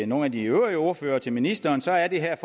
nogle af de øvrige ordførere og til ministeren så er det her